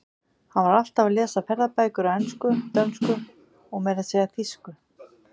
Hann var alltaf að lesa ferðabækur á ensku, dönsku og meira að segja þýsku.